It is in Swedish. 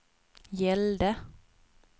gällde